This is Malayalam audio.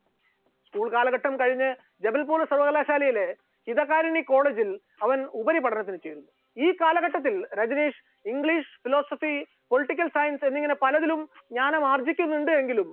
school കാലഘട്ടം കഴിഞ്ഞു ജബല്പൂൾ സർവകലാശാലയിലെ ഇതാഹാരിണി college ൽ അവൻ ഉപരിപഠനത്തിന് ചേർന്നു, ഈ കാലഘട്ടത്തിൽ Rajneesh english philosophy, political science എന്നിങ്ങനെ പലതിലും ജ്ഞാനം ആർജ്ജിക്കുന്നുണ്ട് എങ്കിലും